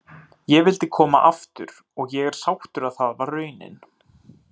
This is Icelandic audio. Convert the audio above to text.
Ég vildi koma aftur og ég er sáttur að það varð raunin.